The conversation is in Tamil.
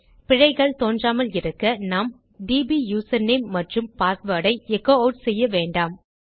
பிழைகள் தோன்றாமலிருக்க நாம் டிபி யூசர்நேம் மற்றும் பாஸ்வேர்ட் ஐ எச்சோ ஆட் செய்ய வேண்டாம்